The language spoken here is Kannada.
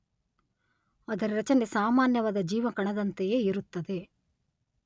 ಅದರ ರಚನೆ ಸಾಮಾನ್ಯವಾದ ಜೀವಕಣದಂತೆಯೇ ಇರುತ್ತದೆ.